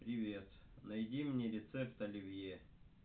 привет найди мне рецепт оливье